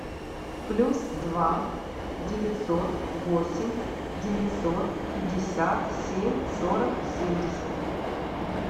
плюс два девятьсот восемь девятьсот пятьдесят семь сорок семьдесят